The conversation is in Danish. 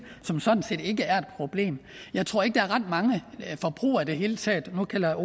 som sådan set ikke er et problem jeg tror ikke der er ret mange forbrugere i det hele taget nu kalder